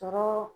Tɔɔrɔ